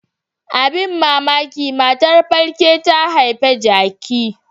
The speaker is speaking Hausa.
Abin mamaki matar falke ta haifi jaki.